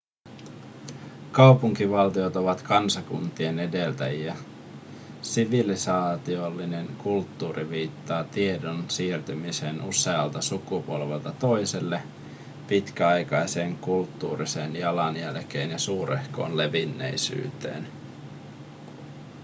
kaupunkivaltiot ovat kansakuntien edeltäjiä sivilisaatiollinen kulttuuri viittaa tiedon siirtymiseen usealta sukupolvelta toiselle pitkäaikaiseen kulttuuriseen jalanjälkeen ja suurehkoon levinneisyyteen